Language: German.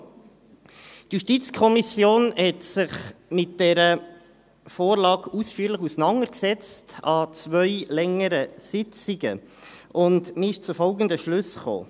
Die JuKo setzte sich mit dieser Vorlage an zwei längeren Sitzungen ausführlich auseinander, und man kam zu folgenden Schlüssen: